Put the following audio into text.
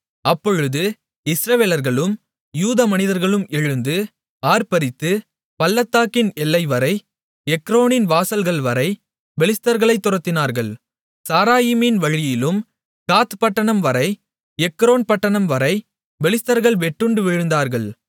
அப்பொழுது இஸ்ரவேலர்களும் யூதா மனிதர்களும் எழுந்து ஆர்ப்பரித்து பள்ளத்தாக்கின் எல்லைவரை எக்ரோனின் வாசல்கள்வரை பெலிஸ்தர்களைத் துரத்தினார்கள் சாராயீமின் வழியிலும் காத் பட்டணம் வரை எக்ரோன் பட்டணம் வரை பெலிஸ்தர்கள் வெட்டுண்டு விழுந்தார்கள்